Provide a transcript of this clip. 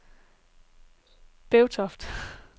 Bevtoft